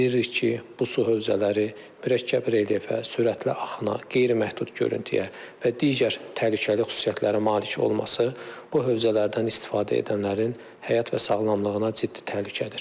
Bildiririk ki, bu su hövzələri mürəkkəb relyefə, sürətli axına, qeyri-məhdud görüntüyə və digər təhlükəli xüsusiyyətlərə malik olması bu hövzələrdən istifadə edənlərin həyat və sağlamlığına ciddi təhlükədir.